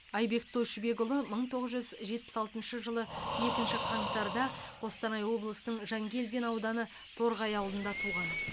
айбек тойшыбекұлы мың тоғыз жүз жетпіс алтыншы жылы екінші қаңтарда қостанай облысының жангелдин ауданы торғай ауылында туған